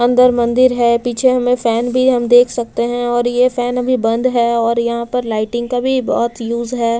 अंदर मंदिर है पीछे हमें फैन भी हम देख सकते हैं और ये फैन अभी बंद है और यहां पर लाइटिंग का भी बहोत यूज है।